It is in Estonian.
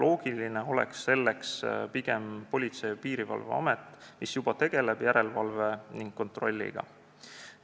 Loogiline koht oleks selleks pigem Politsei- ja Piirivalveamet, mis juba tegeleb järelevalve ning kontrolliga.